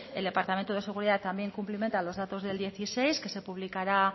el departamento de seguridad también cumplimenta los datos del dos mil dieciséis que se publicará